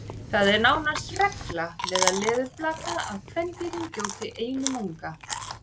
það er nánast regla meðal leðurblaka að kvendýrin gjóti einum unga